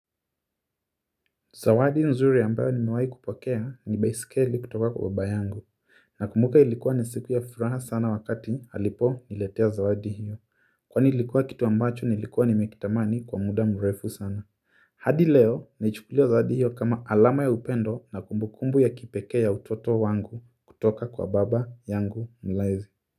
Zawadi nzuri ambayo nimewahi kupokea ni baiskeli kutoka kwa baba yangu, nakumbuka ilikuwa ni siku ya furaha sana wakati aliponiletea zawadi hiyo. Kwan ilikuwa kitu ambacho nilikuwa nimekitamani kwa muda mrefu sana. Hadi leo, naichukulia zawadi hiyo kama alama ya upendo na kumbukumbu ya kipekee ya utoto wangu kutoka kwa baba yangu mlezi.